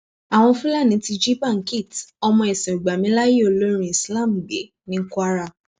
àwọn fúlàní ti jí bankit ọmọ ẹsìnògbàmiláyè olórin islaam gbé ní kwara